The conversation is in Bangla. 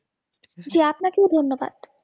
জি আপনাকেও ধন্যবাদ